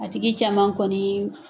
A tigi caman kɔni